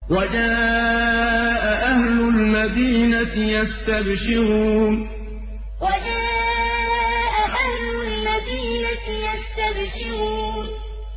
وَجَاءَ أَهْلُ الْمَدِينَةِ يَسْتَبْشِرُونَ وَجَاءَ أَهْلُ الْمَدِينَةِ يَسْتَبْشِرُونَ